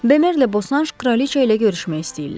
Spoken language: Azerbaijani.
Bemerlə Boşanj kraliçə ilə görüşmək istəyirlər.